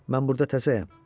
Mən burda təzəyəm.